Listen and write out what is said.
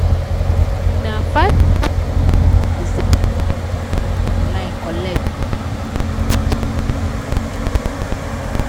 na five thousand dollars the person wey dey write for online collect once for the project wey e don complete finish